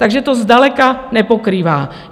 Takže to zdaleka nepokrývá.